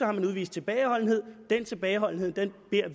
har udvist tilbageholdenhed den tilbageholdenhed beder